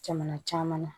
Jamana caman na